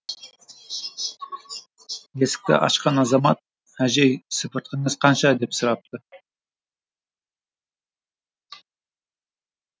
есікті ашқан азамат әжей сыпыртқыңыз қанша деп сұрапты